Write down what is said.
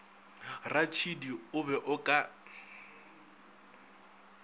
ratšhidi o be o ka